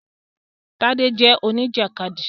Tádé jẹ́ Oníjàkádì